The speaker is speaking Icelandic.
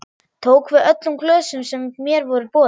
Tók við öllum glösum sem mér voru boðin.